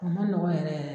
O ma nɔgɔn yɛrɛ